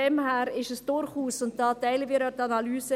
Daher ist es durchaus – hier teilen wir auch die Analyse …